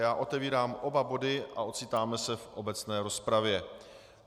Já otevírám oba body a ocitáme se v obecné rozpravě.